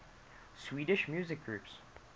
swedish musical groups